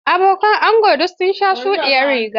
Abokan angon duk sun sa shuɗiyar riga.